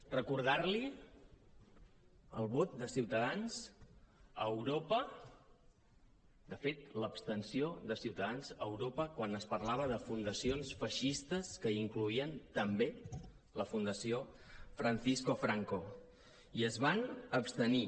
recordar li el vot de ciutadans a europa de fet l’abstenció de ciutadans a europa quan es parlava de fundacions feixistes que incloïen també la fundació francisco franco i es van abstenir